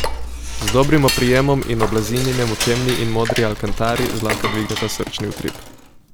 Z dobrim oprijemom in oblazinjenjem v temni in modri alkantari zlahka dvigneta srčni utrip!